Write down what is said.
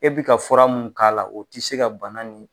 E bi ka fura mun k'a la o ti se ka bana nin